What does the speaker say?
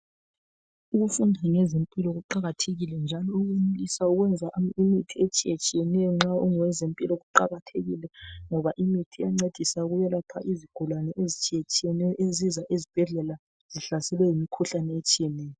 Ukufunda ngezempilo kuqakathekile njalo usawuza imithi etshiyetshiyeneyo nxa ungowezempilo kuqakathekile ngoba imithi iyancedisa ukwelapha izigulane ezitshiyetshiyeneyo ezisa esibhedlela zihlaselwe yimikhuhlane etshiyetshiyeneyo.